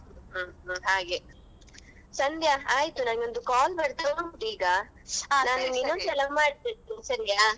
ಹ್ಮ್ ಹ್ಮ್ ಹಾಗೆ ಸಂಧ್ಯಾ ಆಯಿತು ನಂಗೆ ಒಂದ್ call ಬರ್ತಾ ಉಂಟು ಈಗ ಇನೊಂದ್ಸಲ ಮಾಡ್ತೇನೆ ಸರಿಯಾ.